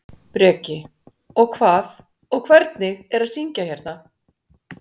Breki: Og hvað, og hvernig er að syngja hérna?